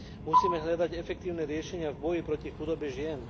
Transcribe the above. Musíme hľadať efektívne riešenia v boji proti chudobe žien.